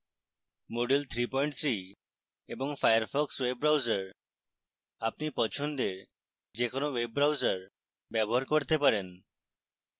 moodle 33 এবং firefox web browser